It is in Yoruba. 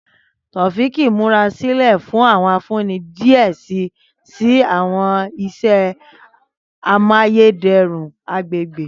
Taofiq n murasilẹ fun awọn ifunni diẹ sii si awọn iṣẹ amayederun agbegbe.